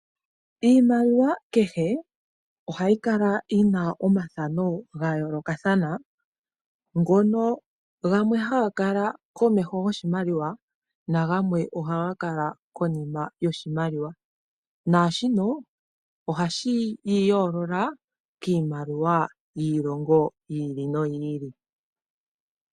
Iimaliwa kehe ohayi kala yina omathano gayoolokathana ngono gamwe haga kala komeho goshimaliwa nagamwe oha gakala konima yoshimaliwa, naashino ohashi yi yoolola kiimaliwa yiilongo yi ili no yi ili.